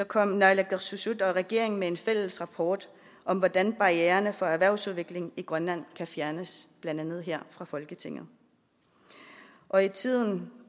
kom naalakkersuisut og regeringen med en fælles rapport om hvordan barriererne for erhvervsudvikling i grønland kan fjernes blandt andet her fra folketinget og i tiden